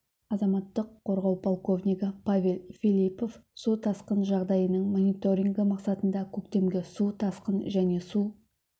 азаматтық қорғау полковнигі павел филиппов су тасқын жағдайының мониторингі мақсатында көктемгі су тасқын және су